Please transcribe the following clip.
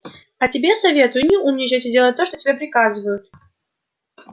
а тебе советую не умничать и делать то что тебе приказывают